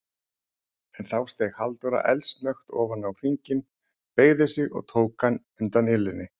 En þá steig Halldóra eldsnöggt ofan á hringinn, beygði sig og tók hann undan ilinni.